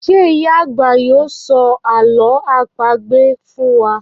Ṣé ìyá àgbà yóò sọ àlọ́ àpagbè fún wa?